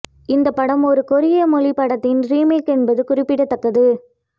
இந்த படம் ஒரு கொரிய மொழி படத்தின் ரீமேக் என்பது குறிப்பிடத்தக்கது